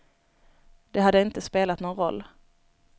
Det hade inte spelat någon roll.